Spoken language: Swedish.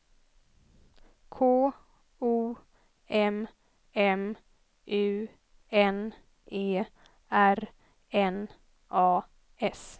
K O M M U N E R N A S